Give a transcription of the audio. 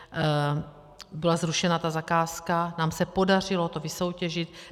Byla zrušena ta zakázka, nám se to podařilo vysoutěžit.